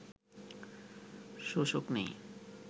শোষক নেই